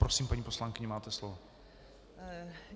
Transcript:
Prosím, paní poslankyně, máte slovo.